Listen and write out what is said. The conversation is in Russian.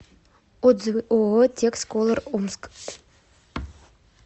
отзывы ооо текс колор омск